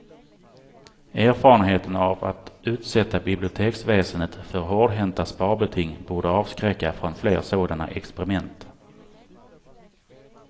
Erfarenheterna av att utsätta biblioteksväsendet för hårdhänta sparbeting borde avskräcka från fler sådana experiment.